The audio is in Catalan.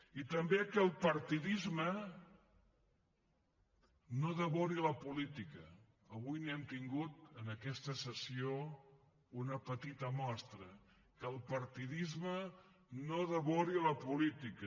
i també que el partidisme no devori la política avui n’hem tingut en aquesta sessió una petita mostra que el partidisme no devori la política